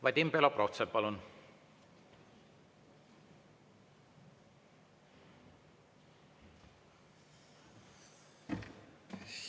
Vadim Belobrovtsev, palun!